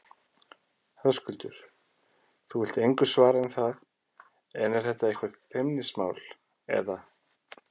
Höskuldur: Þú vilt engu svara um það, er þetta eitthvað feimnismál, eða?